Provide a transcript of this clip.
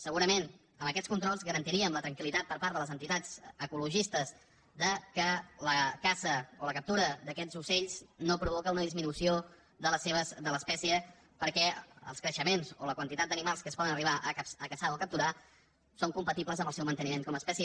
segurament amb aquests controls garantiríem la tranquil·litat per part de les entitats ecologistes que la caça o la captura d’aquests ocells no provoca una disminució de l’espècie perquè els creixements o la quantitat d’animals que es poden arribar a caçar o a capturar són compatibles amb el seu manteniment com a espècie